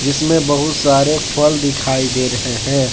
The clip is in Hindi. जिसमें बहुत सारे फल दिखाई दे रहे हैं।